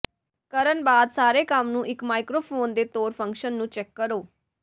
ਕਰਨ ਬਾਅਦ ਸਾਰੇ ਕੰਮ ਨੂੰ ਇੱਕ ਮਾਈਕਰੋਫੋਨ ਦੇ ਤੌਰ ਫੰਕਸ਼ਨ ਨੂੰ ਚੈੱਕ ਕਰੋ